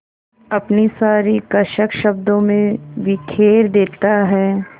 अपनी सारी कसक शब्दों में बिखेर देता है